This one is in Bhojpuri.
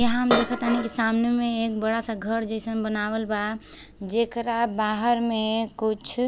यहां मे देखत तनी सामने मे एक बड़ा सा घर जैसन बनावल बा। जेकरा बाहर मे कुछ --